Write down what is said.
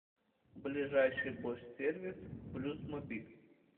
ближайший бош сервис блюзмобиль